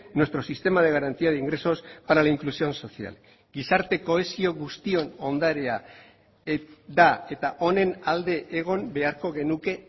nuestro sistema de garantía de ingresos para la inclusión social gizarte kohesio guztion ondarea da eta honen alde egon beharko genuke